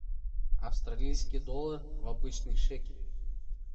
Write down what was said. австралийский доллар в обычный шекель